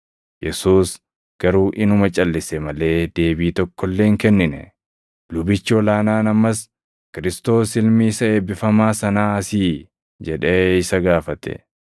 Yesuus garuu inuma calʼise malee deebii tokko illee hin kennine. Lubichi ol aanaan ammas, “Kiristoos Ilmi isa Eebbifamaa Sanaa sii?” jedhee isa gaafate.